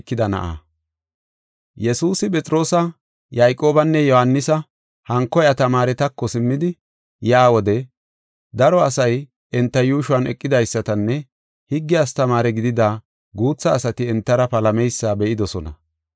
Yesuusi, Phexroosi, Yayqoobinne Yohaanisi hanko iya tamaaretako simmidi yaa wode, daro asay enta yuushuwan eqidaysatanne higge astamaare gidida guutha asati entara palameysa be7idosona.